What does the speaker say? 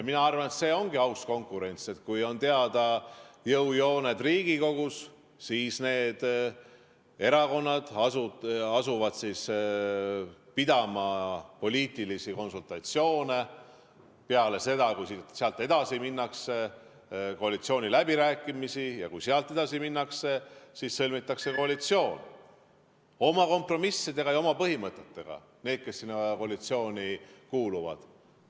Mina arvan, et see ongi aus konkurents: kui on teada jõujooned Riigikogus, siis need erakonnad asuvad pidama poliitilisi konsultatsioone, ning peale seda, kui edasi minnakse, peetakse koalitsiooniläbirääkimisi, ja kui sealt edasi minnakse, siis sõlmitakse koalitsioon, oma kompromissidega ja oma põhimõtetega, kes sinna koalitsiooni kuuluvad.